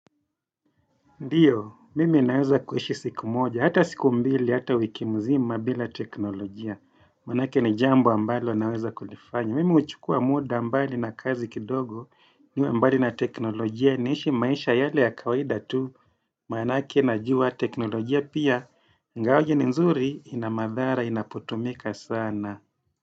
Ndiyo, mimi naweza kuishi siku moja, hata siku mbili, hata wiki mzima, bila teknolojia. Maanake ni jambo ambalo naweza kulifanya. Mimi huchukua muda ambayo nina kazi kidogo, niwe mbali na teknolojia, niishi maisha yale ya kawaida tu. Maanake najua teknolojia pia, ingawaje ni nzuri, inamadhara, inapotumika sana.